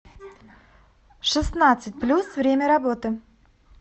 шестнадцать плюс время работы